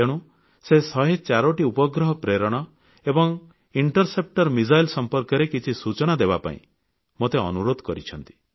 ତେଣୁ ସେ 104ଟି ଉପଗ୍ରହ ପ୍ରେରଣ ଏବଂ ଇଣ୍ଟରସେପ୍ଟର ମିସାଇଲ୍ ସମ୍ପର୍କରେ କିଛି ସୂଚନା ଦେବାପାଇଁ ମୋତେ ଅନୁରୋଧ କରିଛନ୍ତି